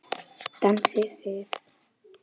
Dansið þið.